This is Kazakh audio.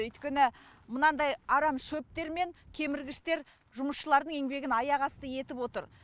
өйткені мынандай арапшөптер мен кеміргіштер жұмысшылардың еңбегін аяқ асты етіп отыр